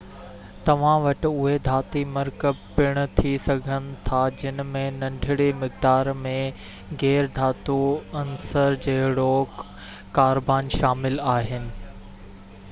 توهان وٽ اهي ڌاتي مرڪب پڻ ٿي سگهن ٿاجن ۾ ننڍڙي مقدار ۾ غير ڌاتو عنصر جهڙوڪ ڪاربان شامل آهن